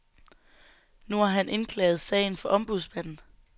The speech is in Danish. Nu har han indklaget sagen for ombudsmanden.